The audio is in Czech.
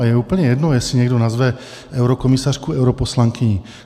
A je úplně jedno, jestli někdo nazve eurokomisařku europoslankyní.